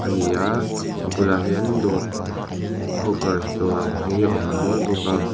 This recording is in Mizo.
ani a a bulah hian dawr hookers dawr ang hi a awm nual bawk a.